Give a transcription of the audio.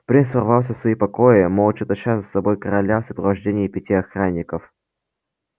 принц ворвался в свои покои молча таща за собой короля в сопровождении пяти охранников